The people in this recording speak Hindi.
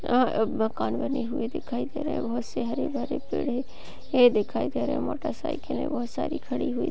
मकान बनी हुई दिखाई दे रही है बहोत से हरे भरे पेड़े दिखाई दे रहे मोटर साईकीले बहोत सारी खड़ी हुई --